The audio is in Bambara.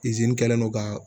kɛlen do ka